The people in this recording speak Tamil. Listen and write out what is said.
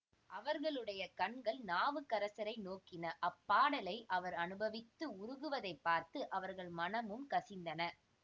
அவர்களுடைய கண்கள் நாவுக்கரசரை நோக்கின அப்பாடலை அவர் அனுபவித்து உருகுவதைப் பார்த்து அவர்கள் மனமும் கசிந்தன